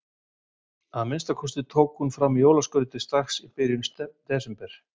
Að minnsta kosti tók hún fram jólaskrautið strax í byrjun desember.